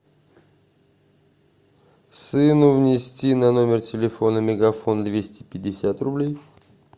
сыну внести на номер телефона мегафон двести пятьдесят рублей